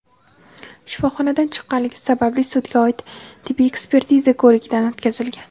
shifoxonadan chiqqanligi sababli sudga oid tibbiy ekspertiza ko‘rigidan o‘tkazilgan.